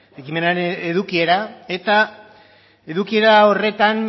ekimenaren edukiera eta edukiera horretan